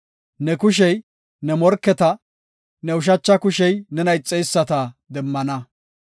Ne kushey ne morketa, ne ushacha kushey nena ixeyisata demmana.